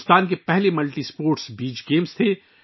یہ بھارت کا پہلا ملٹی اسپورٹس بیچ گیمز تھا